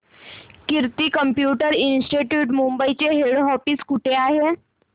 कीर्ती computer institute Mumbai चे head office कुठे आहे